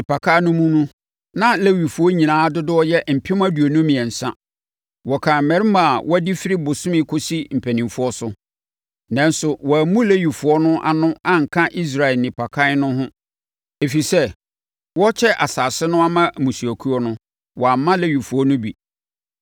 Nnipakan no mu na Lewifoɔ nyinaa dodoɔ yɛ mpem aduonu mmiɛnsa (23,000). Wɔkan mmarima a wɔadi firi bosome kɔsi mpanimfoɔ so. Nanso, wɔammu Lewifoɔ no ano anka Israel nnipakan no ho, ɛfiri sɛ, wɔrekyɛ nsase no ama mmusuakuo no, wɔamma Lewifoɔ no bi.